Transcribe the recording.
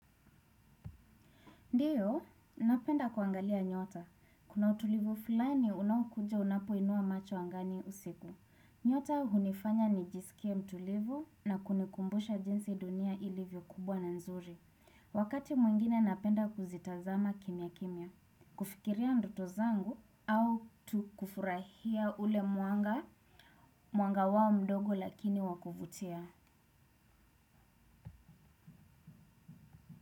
Ndiyo, napenda kuangalia nyota. Kuna utulivu fulani unaokuja unapoinua macho angani usiku. Nyota hunifanya nijisikie mtulivu na kunikumbusha jinsi dunia ilivyo kubwa na nzuri. Wakati mwingine napenda kuzitazama kimya kimya. Kufikiria ndoto zangu au tu kufurahia ule mwanga, mwanga wao mdogo lakini wa kuvutia.